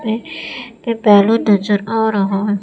ये ये बैलून नजर आ रहा--